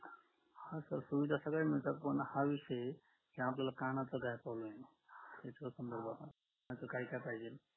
हा sir सुविधा सगळ्या मिळतात पण हा विषये आपल्याला कानाचा काय problem आहे याच्यावर पण बघू आपण कानाचा काय काय पाहिजे